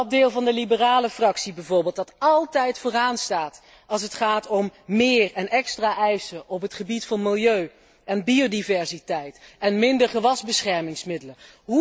Dat deel van de Liberale Fractie bijvoorbeeld, dat altijd vooraan staat als het gaat om meer en extra eisen op het gebied van milieu en biodiversiteit en minder gewasbeschermingsmiddelen.